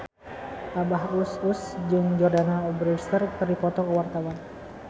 Abah Us Us jeung Jordana Brewster keur dipoto ku wartawan